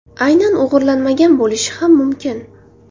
Aynan o‘g‘irlanmagan bo‘lishi ham mumkin.